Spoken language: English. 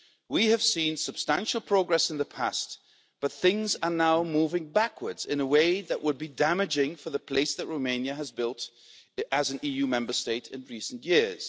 We have seen substantial progress in the past, but things are now moving backwards in a way that would be damaging for the place that Romania has built as an EU Member State in recent years.